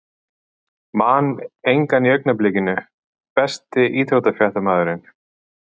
Man engan í augnablikinu Besti íþróttafréttamaðurinn?